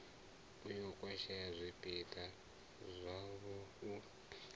ya khwashea zwipida zwavho u